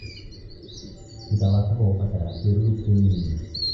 Tuta wa kahũa ũbataraga kĩruru kĩnini.